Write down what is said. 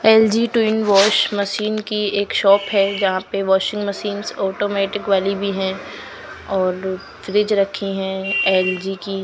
LG two in wash machine की एक shop है जहां पे वाशिंग मशीनंस ऑटोमेटिक वाली भी है और फ्रिज रखी है एल_जी की --